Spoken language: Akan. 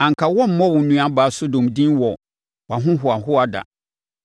Anka woremmɔ wo nuabaa Sodom din wɔ wʼahohoahoa ɛda,